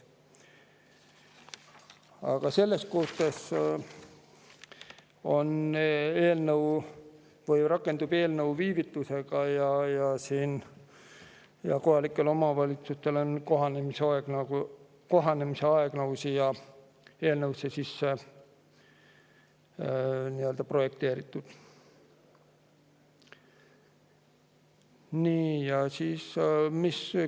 Aga kuna eelnõu rakendub viivitusega, siis on kohalike omavalitsuste kohanemisaeg siia eelnõusse juba sisse.